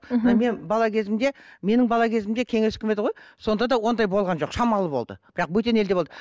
мхм мен бала кезімде менің бала кезімде кеңес үкіметі ғой сонда да ондай болған жоқ шамалы болды бірақ бөтен елде болды